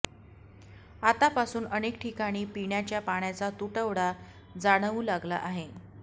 आतापासून अनेक ठिकाणी पिण्याचा पाण्याचा तुटवडा जाणवू लागला आहे